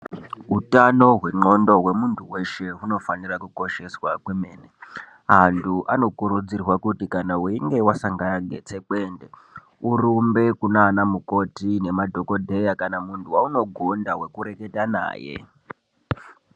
Utano hwe ngxondo hwemunhu weshe ,hunofanirwa kukosheswa zvemene ,antu anokurudzirwa kuti kana uchinge wasangana netsekwende urumbe kunana mukoti naana dhokodheya kana munhu wawunogona kureketa naye.